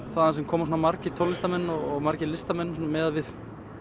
þaðan sem koma svona margir tónlistarmenn og margir listamenn miðað við